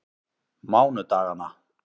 mánudaganna